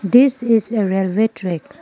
this is a railway track.